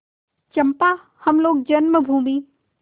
चंपा हम लोग जन्मभूमि